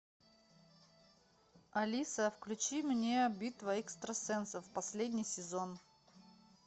алиса включи мне битва экстрасенсов последний сезон